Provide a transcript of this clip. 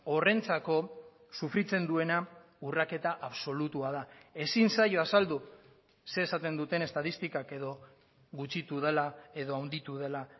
horrentzako sufritzen duena urraketa absolutua da ezin zaio azaldu zer esaten duten estatistikak edo gutxitu dela edo handitu dela